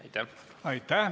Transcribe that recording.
Aitäh!